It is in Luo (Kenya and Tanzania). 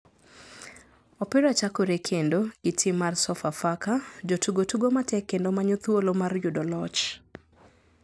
Opira chakore kendo ,gi tim mar sofa faka, jotugo tugo matek kendo manyo thuolo mar yudo loch.